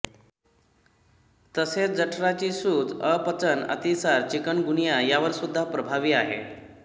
तसेच जठराची सूज अपचन अतिसार चिकनगुनिया यावर सुद्धा प्रभावी आहे